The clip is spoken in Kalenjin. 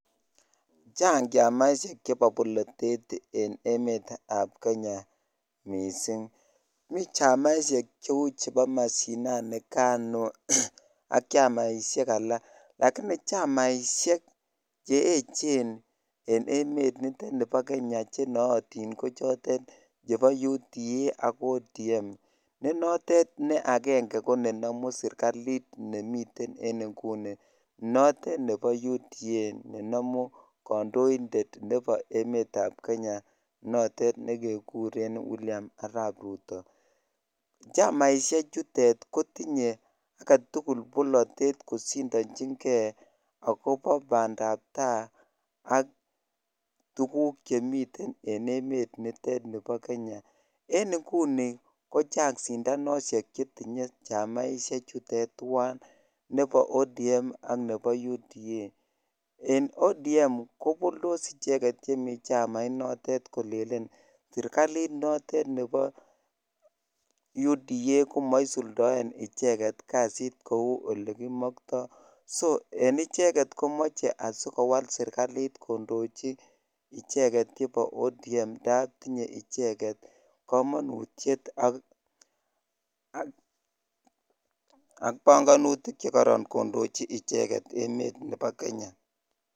Chaaang chamaisheek chepo polatet eng kenyaaa chamaisheek cheeecheen eng kenyaa kocheuuu UDA notok ko chamaiit neindochin kandoindeet notok kekuree Arap Ruto eng ODM kopolndoos ak koleen maae poishonik serikalit ap UDA ko ngunii icheget komeche kongeem serikalliit